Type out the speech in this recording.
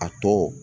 A tɔ